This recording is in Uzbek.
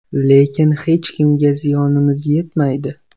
Lekin hech kimga ziyonimiz yetmaydi.